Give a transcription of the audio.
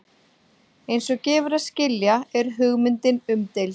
Eins og gefur að skilja er hugmyndin umdeild.